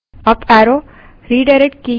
terminal पर जाएँ